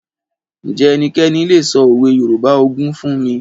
Ǹjẹ́ ẹnikẹ́ni lè sọ òwe Yorùbá ogún fún mi?